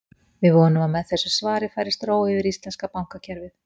Við vonum að með þessu svari færist ró yfir íslenska bankakerfið.